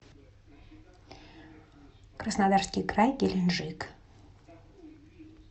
краснодарский край геленджик